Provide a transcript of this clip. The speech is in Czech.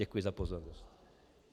Děkuji za pozornost.